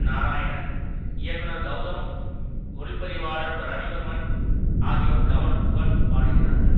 நாராயணன் இயக்குனர் கெளதம் ஒளி பதிவாளர் ரவி வர்மன் ஆகியோர் கமல் புகழ் பாடுகிறார்கள்